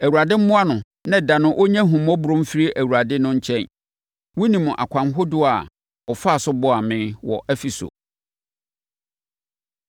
Awurade mmoa no na da no ɔnnya ahummɔborɔ mfiri Awurade no nkyɛn! Wonim akwan ahodoɔ a ɔfaa so boaa me wɔ Efeso.